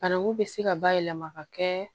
Bananku bɛ se ka bayɛlɛma ka kɛ